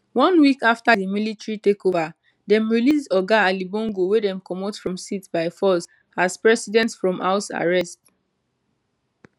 one week afta di military takeova dem release oga ali bongo wey dem comot from seat by force as president from house arrest